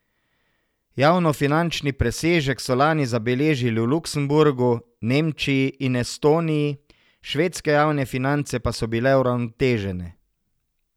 Javnofinančni presežek so lani zabeležili v Luksemburgu, Nemčiji in Estoniji, švedske javne finance pa so bile uravnotežene.